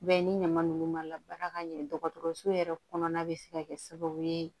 B'a ni ɲama ninnu ma ka ɲɛ dɔgɔtɔrɔso yɛrɛ kɔnɔna bɛ se ka kɛ sababu ye